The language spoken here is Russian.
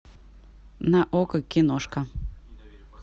на окко киношка